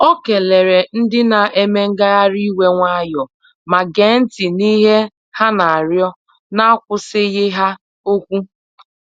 Ọ keleere ndị na-eme ngagharị iwe nwayọọ ma gee ntị n’ihe ha na-arịọ n'akwụsịghị ha okwu.